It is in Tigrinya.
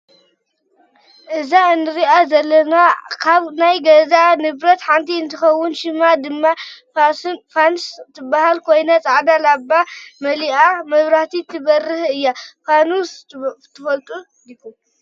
እዛ እንሪኣ ዘለና ካብ ናይ ገዛ ንብረት ሓንቲ እንትከውን ሽማ ድማ ፋንስ ትበሃል ኮይና ፃዕዳ ላባ መሊእካ መብራህቲ እትህብ እያ። ፋኑስ ትፈልጡ ዲኩም?